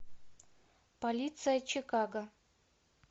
полиция чикаго